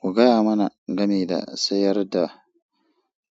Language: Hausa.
Ku gaya mana game da sayar da